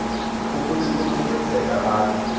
ukuthi kunokwenzeka babe